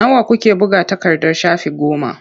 Nawa kuke buga takarda shafi goma.